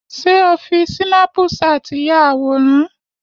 Ṣé o fi sínápúṣàt yà àwòrán?